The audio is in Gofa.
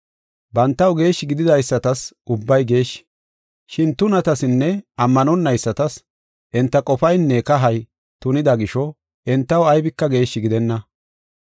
Bantaw geeshshi gididaysatas ubbay geeshshi, shin tunatasinne ammanonaysatas enta qofaynne kahay tunida gisho, entaw aybika geeshshi gidenna.